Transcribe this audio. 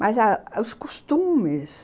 Mas os costumes.